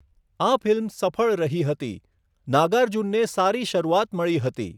આ ફિલ્મ સફળ રહી હતી, નાગાર્જુનને સારી શરૂઆત મળી હતી.